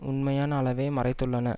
உண்மையான அளவை மறைத்துள்ளன